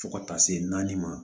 Fo ka taa se naani ma